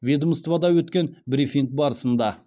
ведомствода өткен брифинг барысында